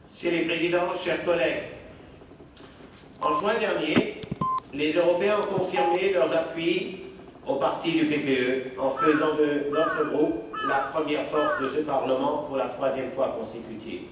Monsieur le Président, chers collègues, en juin dernier, les Européens ont confirmé leurs appuis au parti du PPE, en faisant de notre groupe la première force de ce Parlement, pour la troisième fois consécutive.